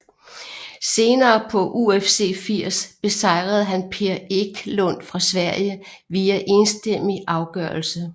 Senere på UFC 80 besejrede han Per Eklund fra Sverige via enstemmig afgørelse